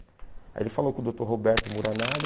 Aí ele falou com o doutor Roberto Muranaga,